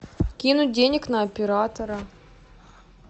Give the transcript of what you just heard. кинуть денег на оператора